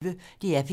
DR P1